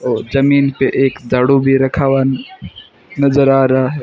ओ जमीन पे एक झाडू भी रखा हुआ नजर आ रहा है।